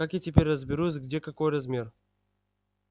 как я теперь разберусь где какой размер